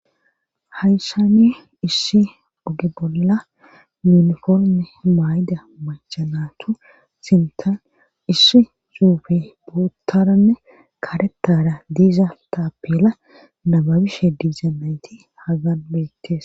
hayssani issi oge bolla yuniforme maay7da machanatu sintan issi zuufe buuttaranne karetara diiza taapela nababishe diizaynayti hagan beettes